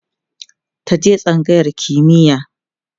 ka je tsangayar kimiya!